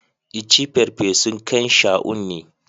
I ci farfesun kain Shaun ne.